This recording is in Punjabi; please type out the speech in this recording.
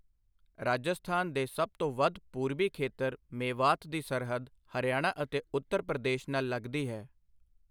ਰਾਜਸਥਾਨ ਦੇ ਸਭ ਤੋਂ ਵੱਧ ਪੂਰਬੀ ਖੇਤਰ ਮੇਵਾਤ ਦੀ ਸਰਹੱਦ ਹਰਿਆਣਾ ਅਤੇ ਉੱਤਰ ਪ੍ਰਦੇਸ਼ ਨਾਲ ਲੱਗਦੀ ਹੈ।